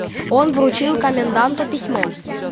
он вручил коменданту письмо